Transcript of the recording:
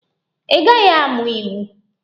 Ị gaghị amụ iwu!